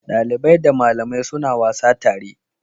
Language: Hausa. Dalibai da malamai suna wasa tare.